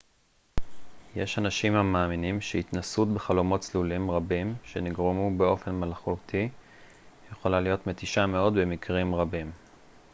יש אנשים המאמינים שהתנסות בחלומות צלולים רבים שנגרמו באופן מלאכותי יכולה להיות מתישה מאוד במקרים רבים